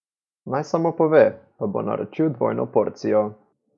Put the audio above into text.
Naj samo pove, pa bo naročil dvojno porcijo.